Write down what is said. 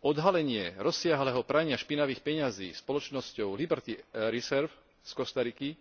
Odhalenie rozsiahleho prania špinavých peňazí spoločnosťou Liberty Reserve z Kostariky,